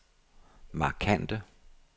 markante